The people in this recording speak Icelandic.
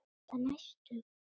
spyr hann æstur.